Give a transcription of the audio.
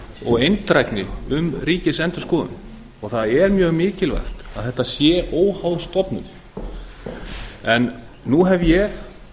og eindrægni um ríkisendurskoðun og það er mjög mikilvægt að þetta sé óháð stofnun en nú hef ég